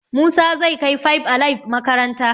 Musa zai kai five alive makaranta